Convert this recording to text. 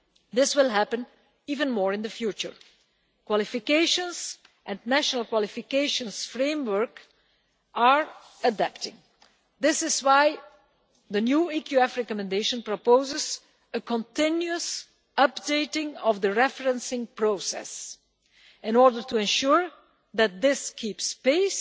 This will happen even more in the future. Qualifications and national qualification frameworks are adapting. This is why the new EQF recommendation proposes a continuous updating of the referencing process in order to ensure that this keeps